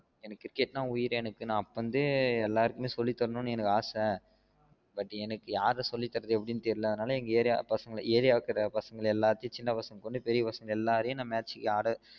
எனக்கு கிரிக்கெட்னா வுயிரு எனக்கு அப்ப இருந்து எல்லாருக்கும் சொல்லி தரன்னு எனக்கு ஆசை but எனக்கு யாருக்கு சொல்லி தரது எப்டின்னு தெரில்ல அதனால எங்க ஏரியா ஏரியால இருக்குற சின்ன பசங்க பெரிய பசங்க எல்லாராயும் நான் match க்கு ஆட